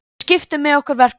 Við skiptum með okkur verkum